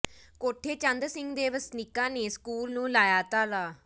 ਕੋਠੇ ਚੰਦ ਸਿੰਘ ਦੇ ਵਸਨੀਕਾਂ ਨੇ ਸਕੂਲ ਨੂੰ ਲਾਇਆ ਤਾਲਾ